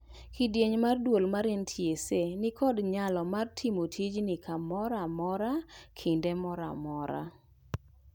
Kidieny mar duol mar NTSA ni kod nyalo mar timo tijni kamora mora kinde mora mora